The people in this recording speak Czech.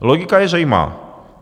Logika je zřejmá.